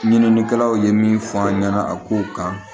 Ɲininikɛlaw ye min fɔ an ɲɛna a kow kan